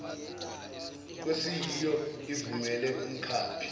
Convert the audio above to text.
kwesiyiso ivumele umkhaphi